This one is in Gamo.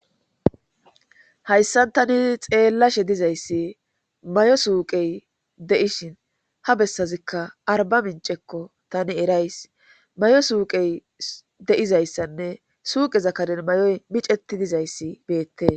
Hayssan tani xeellashe dizayssi mayo suuqey de7ishin ha bessazikka arba mincekko tani erays mayo suuqey de7izayssanne suuqeza kaden may7oy miceti dizayssi beette